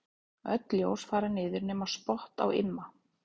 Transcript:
Öll ljós fara niður nema spott á Imma.